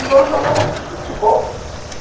E nós jogávamos futebol